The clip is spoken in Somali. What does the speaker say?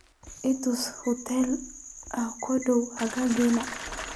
i tus hoteello aad ugu dhow agagaarkayga